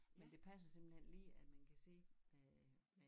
Men det passer simpelthen lige at man kan sidde med øh